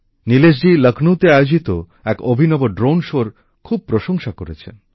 নীলেশজি লখনৌতে আয়োজিত এক অভিনব ড্রোন শোর এর খুব প্রশংসা করেছেন